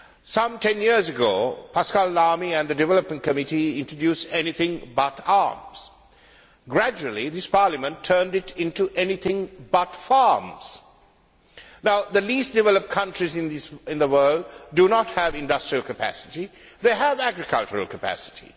Some ten years ago, Pascal Lamy and the Development Committee introduced Everything but Arms'. Gradually, this Parliament turned it into Anything but Farms'. Now the least developed countries in the world do not have industrial capacity, they have agriculture capacity.